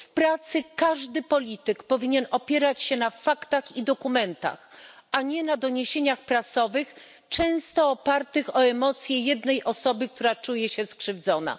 W pracy każdy polityk powinien opierać się na faktach i dokumentach, a nie na doniesieniach prasowych, często opierających się na emocjach jednej osoby, która czuje się skrzywdzona.